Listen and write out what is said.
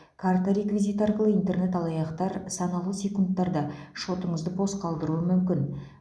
карта реквизиті арқылы интернет алаяқтар санаулы секундтарда шотыңызды бос қалдыруы мүмкін